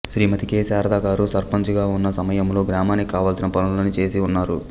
శ్రీమతి K Sharada garu సర్పంచుగా వున్న సమయములో గ్రామానికి కావలిసిన పనులన్నీ చేసి ఉన్నారు